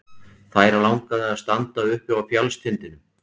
Þær langaði til að standa uppi á fjallstindinum.